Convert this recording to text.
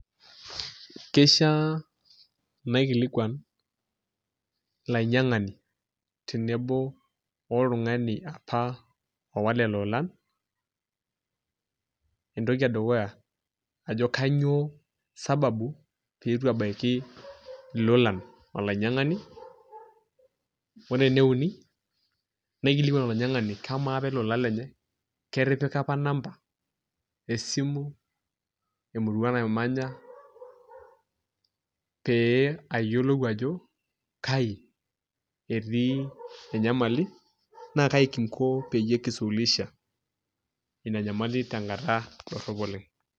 Kishiaa naikilikuan olainyiang'ani oltung'ani apa oowa lelo oolan, entoki edukuya ajo kainyioo sababu pee itu ebaiki ilolan olainyiang'ani ore ene uni naikilikuan olainyiang'ani kamaa apa ele ola lenye ketipika apa number esimu, emurua namanya pee ayiolou ajo kai etii enyamali naa kai kinko peyie kisuluhisha ina nyamali tenkata dorrop oleng'.